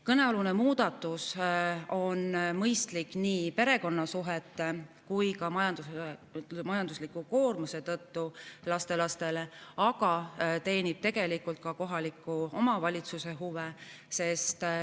Kõnealune muudatus on mõistlik nii perekonnasuhete kui ka majandusliku koormuse tõttu, mis tekib lastelastel, aga see teenib tegelikult ka kohaliku omavalitsuse huve.